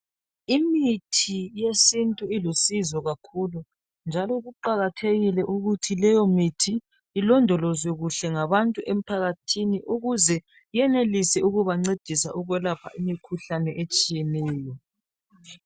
Imithi yesintu ilusizo kakhulu njalo kuqakathekile ukuthi leyomithi ilondolozwe ngabantu emphakathini ukuze yenelise ukubancedisa imikhuhlane etshiyeneyo.